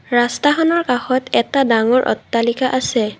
ৰাস্তাখনৰ কাষত এটা ডাঙৰ অট্টালিকা আছে।